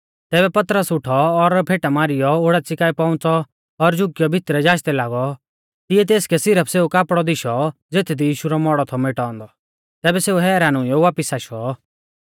तैबै पतरस उठौ और फेटा मारीयौ ओडाच़ी काऐ पौउंच़ौ और झुकीयौ भितरै जाचदै लागौ तिऐ तेसकै सिरफ सेऊ कापड़ौ दिशौ ज़ेथदी यीशु रौ मौड़ौ थौ मेटाऔ औन्दौ तैबै सेऊ हैरान हुइयौ वापिस आशौ